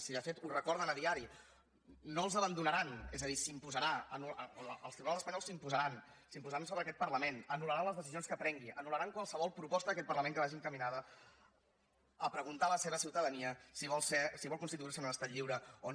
si de fet ho recorden cada dia no els abandonaran és a dir els tribunals espanyols s’imposaran s’imposaran sobre aquest parlament anulanul·laran qualsevol proposta d’aquest parlament que vagi encaminada a preguntar a la seva ciutadania si vol constituir se en un estat lliure o no